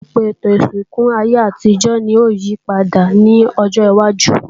Ọ̀pọ̀lọpọ̀ àwọn ètò ìsìnkú ayé àtijọ́ ni yóò yípadà ní ọjọwájú